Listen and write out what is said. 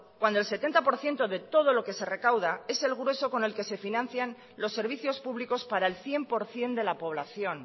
cuando el setenta por ciento de todo lo que se recauda es el grueso con el que se financian los servicios públicos para el cien por ciento de la población